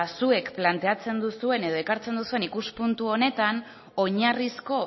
zuek planteatzen duzuen edo ekartzen duzuen ikuspuntu honetan oinarrizko